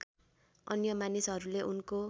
अन्य मानिसहरूले उनको